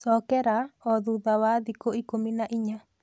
Cokera o thutha wa thikũ ikũmi na inya